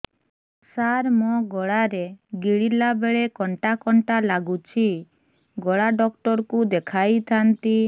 ସାର ମୋ ଗଳା ରେ ଗିଳିଲା ବେଲେ କଣ୍ଟା କଣ୍ଟା ଲାଗୁଛି ଗଳା ଡକ୍ଟର କୁ ଦେଖାଇ ଥାନ୍ତି